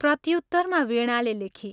प्रत्युत्तरमा वीणाले लेखी